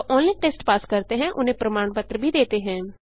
जो online test pass करते हैं उन्हें प्रमाण पत्र भी देते हैं